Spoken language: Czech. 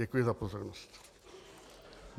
Děkuji za pozornost.